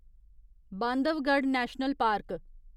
Bandhavgarh national park